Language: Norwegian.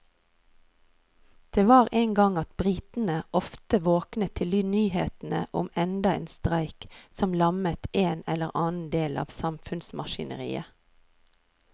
Det var en gang at britene ofte våknet til nyhetene om enda en streik som lammet en eller annen del av samfunnsmaskineriet.